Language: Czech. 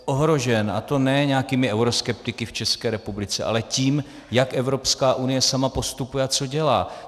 A to ne nějakými euroskeptiky v České republice, ale tím, jak Evropská unie sama postupuje a co dělá.